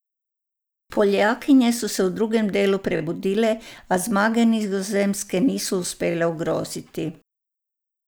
Poljakinje so se v drugem delu prebudile, a zmage Nizozemske niso uspele ogroziti.